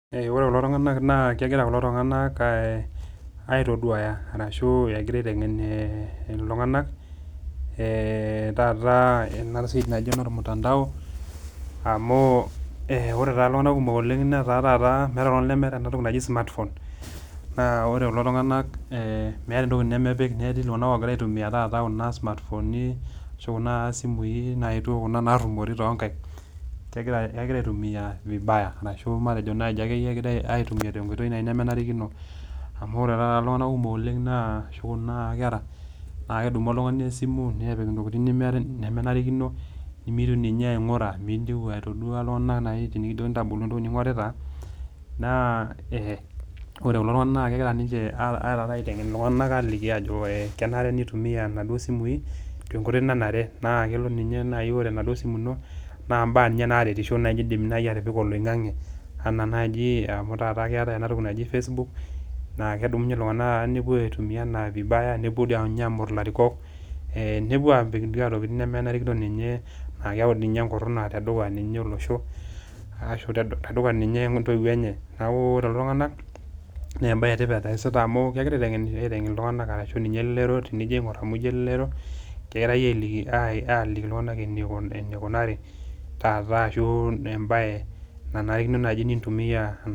ore kulo tungana na kengira kulo tungana aaa aitoduaya, ashu engira aitengen iltungana ee tata ena siai naji olmutandao, amu ee ore iltungana kumok oleng netaa tata meeta oltungani lemeta ena toki naji smart phone na ore kulo tunganak meeta entoki nemepik, netii tata iltunganak ongira aitumia tata kuna smartphoni ashu kuna simui naetuo kuna narumori tonkaik, kengira aitumia viabaya ashu kengira aitumia tenkoitoi nemenarikino amu ore tata iltunganak kumok ashu kuna kera na kedumu oltungani esimu nepik intokitin nemenarikino, nimitieu ninye aingura nemintieu aitodua iltunganak, tenikijokini naji tenikijokini ntodolu entoki ningorita, na e ore kulo tungana na kengira arare aliki iltunganak ajoki kenare nitumia inaduo simui tenkoitoi nanare, na kelo ninye naji ore ina simu ino na imbaa naji naretisho indim atipika oloingange, ena najii ketae ena toki najo facebookna kedumunye iltungana tata nepuo aitumia vibaya nepuo doi ninye amorr ilarikok, nepuo apik intokitin nemenarikino ninye na kiaku naji enkuruna tedukuya ninye olosho ashu tedukuya ninye ontoiwuo enye, niaku ore lelo tungana na embae etipat eyasita amu kengira aitengen iltungana ashu ninye elelero, tenijo aingor amu kengira aitodol iltungana enikunari tata ashu embae nanarikino nintumia,